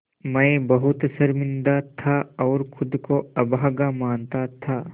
मैं बहुत शर्मिंदा था और ख़ुद को अभागा मानता था